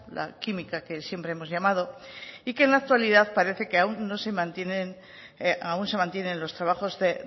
la química que siempre hemos llamado y que en la actualidad parece que aún se mantienen los trabajos de